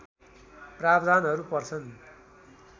प्रावधानहरू पर्छन्